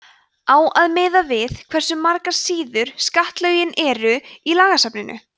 á að miða við hversu margar síður skattalögin eru í lagasafninu